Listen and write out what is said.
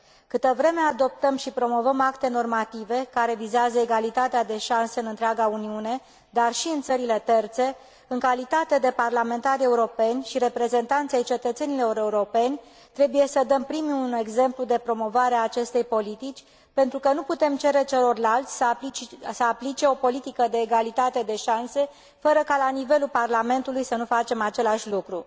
Câtă vreme adoptăm și promovăm acte normative care vizează egalitatea de șanse în întreaga Uniune, dar și în țările terțe, în calitate de parlamentari europeni și reprezentanți ai cetățenilor europeni, trebuie să dăm primii un exemplu de promovare a acestei politici, pentru că nu putem cere celorlalți să aplice o politică de egalitate de șanse, fără ca la nivelul Parlamentului să nu facem același lucru.